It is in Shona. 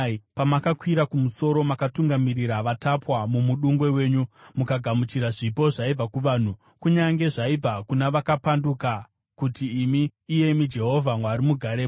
Pamakakwira kumusoro, makatungamirira vatapwa mumudungwe wenyu; mukagamuchira zvipo zvaibva kuvanhu, kunyange zvaibva kuna vakapanduka, kuti imi, iyemi Jehovha Mwari, mugarepo.